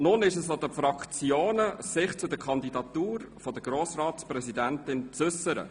Es ist nun an den Fraktionen, sich zur Kandidatur der Grossratspräsidentin zu äussern.